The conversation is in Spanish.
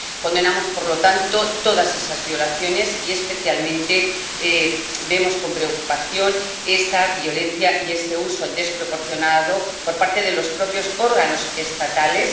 Condenamos, por lo tanto, todas esas violaciones y especialmente vemos con preocupación esa violencia y ese uso desproporcionado de ella por parte de los propios órganos estatales.